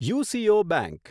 UCO bank